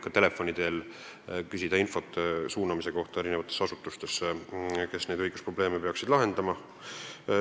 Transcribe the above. Ka telefonitsi saab küsida infot, siis suunatakse edasi asutustesse, kes peaksid õigusprobleeme lahendama.